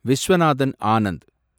Viswanathan Anand